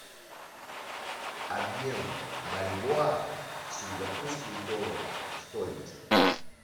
обмен бальбоа в сингапурские доллары стоимость